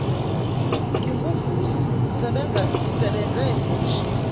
nginguvusi sengisebenze ngomshini